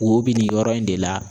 Wo bi nin yɔrɔ in de la